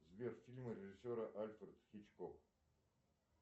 сбер фильмы режиссера альфред хичкок